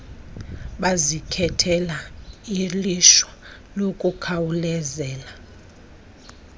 bazikhethela ilishwa lokukhawuleza